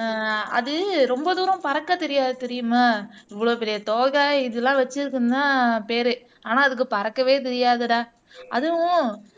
ஆஹ் அது ரொம்ப தூரம் பறக்கத் தெரியாது தெரியுமா இவ்வளவு பெரிய தொகை இதெல்லாம் வச்சிருக்குதுன்னுதான் பேரு ஆனா அதுக்கு பறக்கவே தெரியாதுடா அதுவும்